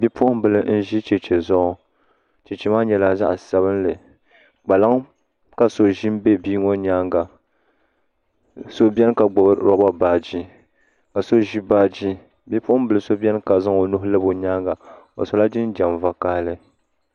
bipuɣimbila n-ʒi cheche zuɣu cheche maa nyɛla zaɣ' sabinli kpaliŋa ka so ʒi m-be bia ŋɔ nyaaŋa so beni ka gbubi lɔba baaji ka so ʒi baaji bipuɣimbil' so beni ka zaŋ o nuhi labi o nyaaŋa o sola jinjam vakahili